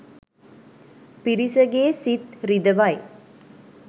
පිරිසගේ සිත් රිදවයි